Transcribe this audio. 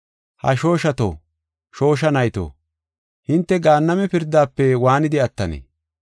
“Ha shooshato, shoosha nayto, hinte Gaanname pirdaafe waanidi attanee?